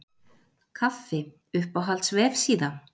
kaffi Uppáhalds vefsíða?